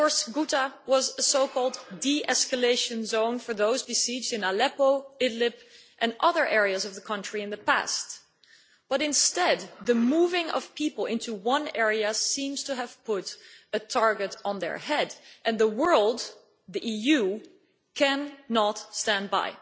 Ghouta was a so called de escalation zone for those besieged in Aleppo, Idlib and other areas of the country in the past, but instead, the moving of people into one area seems to have put a target on their head, and the world, the EU, cannot stand by.